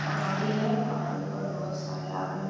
पहाड़ी है पहाड़ी पे बहोत सारे आदमी--